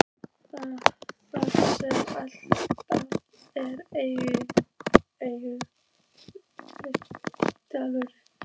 Þar sem alltaf er eilífur dagur.